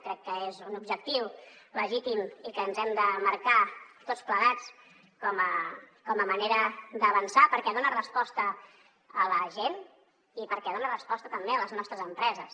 crec que és un objectiu legítim i que ens hem de marcar tots plegats com a manera d’avançar perquè dona resposta a la gent i perquè dona resposta també a les nostres empreses